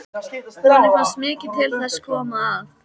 Honum fannst mikið til þess koma að